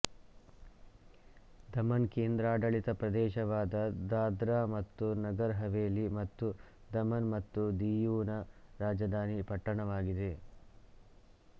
ದಮನ್ ಕೇಂದ್ರಾಡಳಿತ ಪ್ರದೇಶವಾದ ದಾದ್ರಾ ಮತ್ತು ನಗರ್ ಹವೇಲಿ ಮತ್ತು ದಮನ್ ಮತ್ತು ದಿಯುನ ರಾಜಧಾನಿ ಪಟ್ಟಣವಾಗಿದೆ